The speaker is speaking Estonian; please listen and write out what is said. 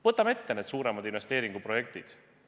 Võtame ette suuremad investeeringuprojektid.